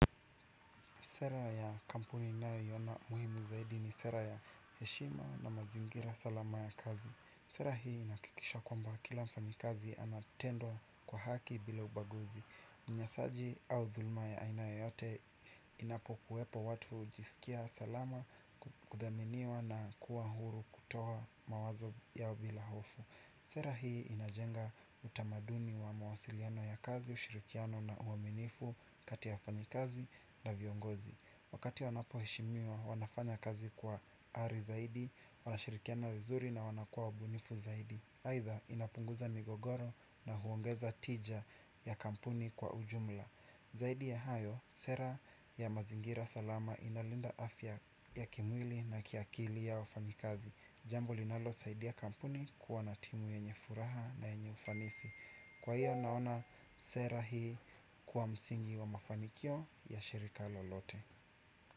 Sera ya kampuni ninayoiona muhimu zaidi ni sera ya heshima na mazingira salama ya kazi. Sera hii inahakikisha kwamba kila mfanyakazi anatendewa kwa haki bila ubaguzi. Unyanyasaji au dhuruma ya aina yoyote inapokuwepo watu hujisikia salama kuthaminiwa na kuwa huru kutoa mawazo yao bila hofu. Sera hii inajenga utamaduni wa mawasiliano ya kazi, ushirikiano na uaminifu kati ya wafanyakazi na viongozi. Wakati wanapo heshimiwa wanafanya kazi kwa ari zaidi, wanashirikiana vizuri na wanakua wabunifu zaidi aidha inapunguza migogoro na huongeza tija ya kampuni kwa ujumla. Zaidi ya hayo, sera ya mazingira salama inalinda afya ya kimwili na kiakili ya wafanyakazi. Jambo linalo saidia kampuni kuwa na timu yenye furaha na nyenye ufanisi. Kwa hiyo naona sera hii kuwa msingi wa mafanikio ya shirika lolote.